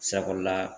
Sago la